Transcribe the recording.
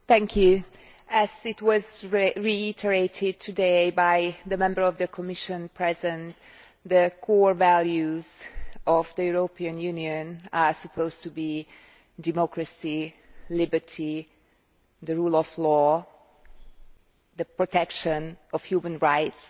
Mr President, as reiterated today by the Member of the Commission present, the core values of the European Union are supposed to be democracy, liberty, the rule of law, and the protection of human rights,